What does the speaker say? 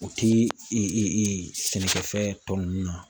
O ti i e e e sɛnɛkɛ fɛn tɔ nunnu na